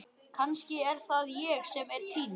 Kannski er það ég sem er týnd.